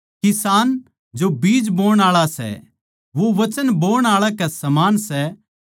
किसान जो बीज बोण आळा सै वो वचन बोण आळा कै समान सै